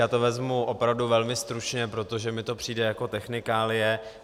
Já to vezmu opravdu velmi stručně, protože mi to přijde jako technikálie.